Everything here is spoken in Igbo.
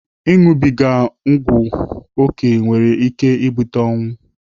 Ịnụbiga ọgwụ oke nwere ike ibute ọnwụ.